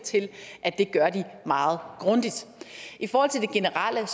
til at de gør meget grundigt i forhold til det generelle er